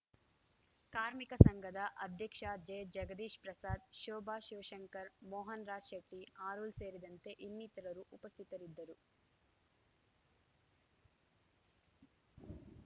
ಕಾರ್ಮಿಕ ಸಂಘದ ಅಧ್ಯಕ್ಷ ಜೆ ಜಗದೀಶ್‌ ಪ್ರಸಾದ್‌ ಶೋಭಾ ಶಿವಶಂಕರ್‌ ಮೋಹನ್‌ರಾಜ್‌ಶೆಟ್ಟಿ ಆರುಲ್‌ ಸೇರಿದಂತೆ ಇನ್ನಿತರರು ಉಪಸ್ಥಿತರಿದ್ದರು